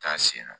Taa sen na